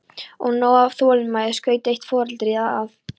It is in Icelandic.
Og nóg af þolinmæði, skaut eitt foreldrið að.